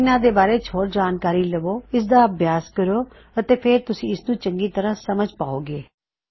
ਇੱਨ੍ਹਾ ਦੇ ਬਾਰੇ ਹੋਰ ਜਾਨਕਾਰੀ ਲਵੋ ਇਸਦਾ ਅਭਿਆਸ ਕਰੋ ਅਤੇ ਫੇਰ ਤੁਸੀਂ ਇਸਨੂੰ ਚੰਗੀ ਤਰ੍ਹਾ ਸਮਝ ਪਾਉ ਗੇਂ